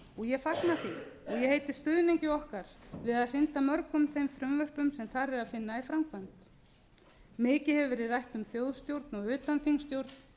og ég fagna því og heiti stuðningi okkar við að hrinda mörgum þeim frumvörpum sem þar er að finna í framkvæmd mikið hefur verið rætt um þjóðstjórn og utanþingsstjórn